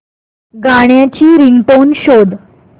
गाण्याची रिंगटोन शोध